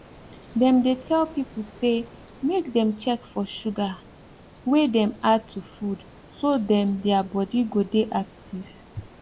dem dey tell people say make dem check for sugar wey dem add to food so dem their body go de active